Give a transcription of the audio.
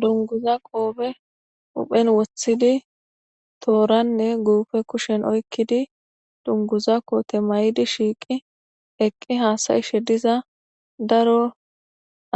Dunguza qoophe uphen woththidi tooranne guufe kushen oykkidi dunguza koote may'idi shiiqi eqqi haasayishe diza daro